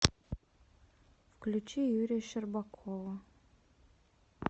включи юрия щербакова